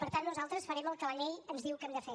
per tant nosaltres farem el que la llei ens diu que hem de fer